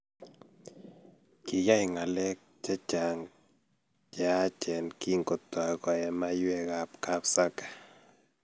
Kiyai ngalek chechang cheyachen kingotoy koee manywek kab Sake